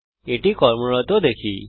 এটি কর্মরত দেখি